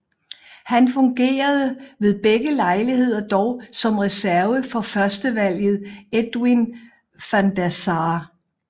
Han fungerede ved begge lejligheder dog som reserve for førstevalget Edwin van der Sar